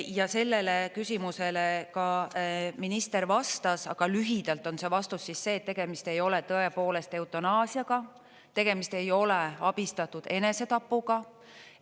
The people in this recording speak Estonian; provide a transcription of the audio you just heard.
Ja sellele küsimusele ka minister vastas, aga lühidalt on see vastus siis see, et tegemist ei ole tõepoolest eutanaasiaga, tegemist ei ole abistatud enesetapuga.